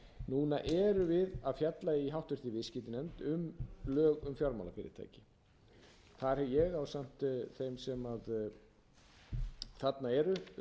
núna erum við að fjalla í háttvirtri viðskiptanefnd um lög um fjármálafyrirtæki þar er ég ásamt þeim sem þarna eru